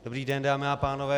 Dobrý den, dámy a pánové.